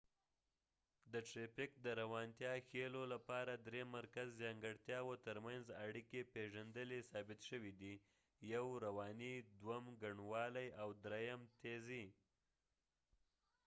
د ټرېفک د روانتیا ښیلو لپاره درې مرکزي ځانګړتیاوو تر منځ اړیکي پېژندلي ثابت شوي دي: 1 رواني، 2 ګڼوالی، او 3 تېزي